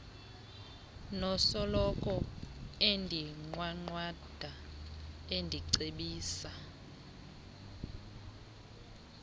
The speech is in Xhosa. nosoloko endinqwanqwada endicebisa